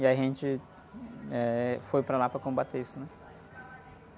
E a gente foi, eh, para lá para combater isso, né?